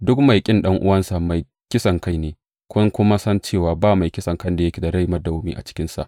Duk mai ƙin ɗan’uwansa mai kisankai ne, kun kuma san cewa ba mai kisankan da yake da rai madawwami a cikinsa.